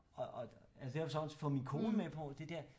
Og altså jeg har så også fået min kone med på det dér